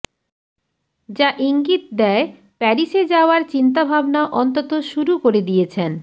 যা ইঙ্গিত দেয় প্যারিসে যাওয়ার চিন্তাভাবনা অন্তত শুরু করে দিয়েছেন